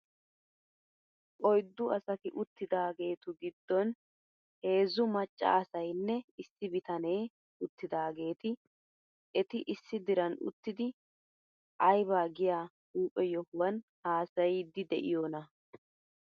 Oyddu asati uttidaageetu giddon heezzu macca asaynne issi bitanee uttidaageeti eti issi diran uttidi ayba giyaa huuphphe yohuwan haasayiiddi de'iyoonaa.